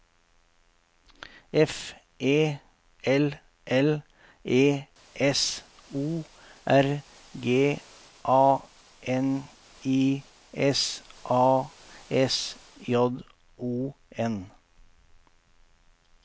F E L L E S O R G A N I S A S J O N